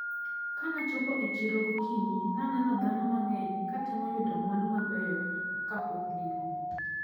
Kanachopo e chiro gokinyi, naneno dhano mang`eny katemo yudo mwandu mabeyo kapok girumo.